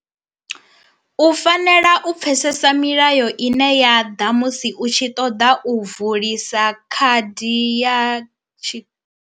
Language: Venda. U fanela u pfesesa milayo ine ya ḓa musi u tshi ṱoḓa u vulisa khadi ya tshi.